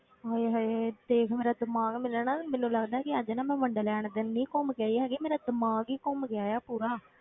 ਹਾਏ ਹਾਏ ਦੇਖ ਮੇਰਾ ਦਿਮਾਗ ਮੈਨੂੰ ਨਾ, ਮੈਨੂੰ ਲੱਗਦਾ ਕਿ ਅੱਜ ਨਾ ਮੈਂ ਵੰਡਰਲੈਂਡ ਕੰਨੀ ਘੁੰਮ ਕੇ ਆਈ ਹੈਗੀ, ਮੇਰਾ ਦਿਮਾਗ ਹੀ ਘੁੰਮ ਗਿਆ ਹੈ ਪੂਰਾ।